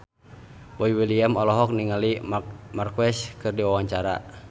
Boy William olohok ningali Marc Marquez keur diwawancara